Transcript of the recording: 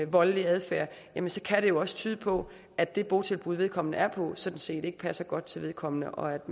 voldelig adfærd jamen så kan det jo også tyde på at det botilbud vedkommende er på sådan set ikke passer godt til vedkommende og at